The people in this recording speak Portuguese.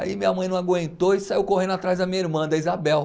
Aí minha mãe não aguentou e saiu correndo atrás da minha irmã, da Isabel.